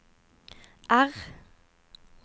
R